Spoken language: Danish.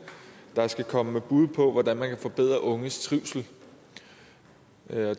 der skal komme med bud på hvordan man kan forbedre unges trivsel